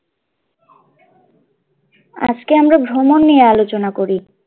আজকে আমরা ভ্রমণ নিয়ে আলোচনা করি।